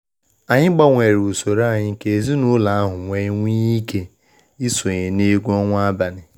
Anyị gbanwere usoro anyị ka ezinụlọ ahu wee nwee ike isonye na egwu onwa abalị.